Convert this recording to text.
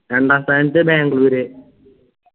രണ്ടാം സ്ഥാനത്ത്‌ ബാംഗ്ലൂര്